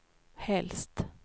helst